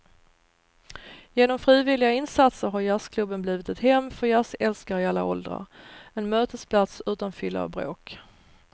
Genom frivilliga insatser har jazzklubben blivit ett hem för jazzälskare i alla åldrar, en mötesplats utan fylla och bråk.